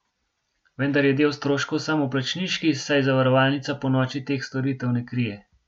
Vendar je del stroškov samoplačniški, saj zavarovalnica ponoči teh storitev ne krije.